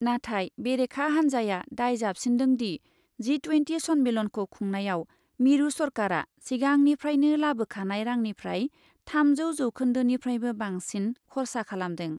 नाथाय बेरेखा हान्जाया दाय जाबसिन्दोंदि , जि ट्वेन्टि सन्मेलनखौ खुंनायाव मिरु सरकारा सिगांनिफ्रायनो लाबोखानाय रांनिफ्राय थामजौ जौखोन्दोनिफ्रायबो बांसिन खरसा खालामदों ।